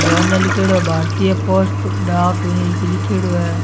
जो अने लिख्योड़ो है भारतीय पोस्ट डाक इ की लिख्योड़ो है।